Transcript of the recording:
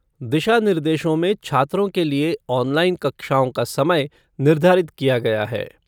दिशानिर्देशों में छात्रों के लिए ऑनलाइन कक्षाओं का समय निर्धारित किया गया है।